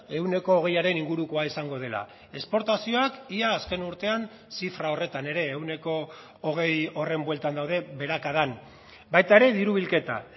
ehuneko hogeiaren ingurukoa izango dela esportazioak ia azken urtean zifra horretan ere ehuneko hogei horren bueltan daude beherakadan baita ere diru bilketa